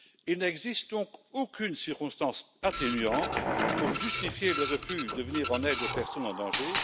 Il n'existe donc aucune circonstance atténuante pour justifier le refus de venir en aide aux personnes en danger.